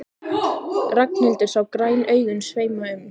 Ragnhildur sá græn augun sveima um.